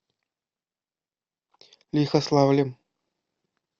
лихославлем